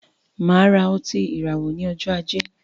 Máa ra otí ìràwọ ní ọjọ ajé